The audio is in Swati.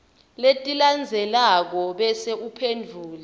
letilandzelako bese uphendvula